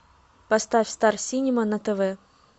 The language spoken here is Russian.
поставь стар синема на тв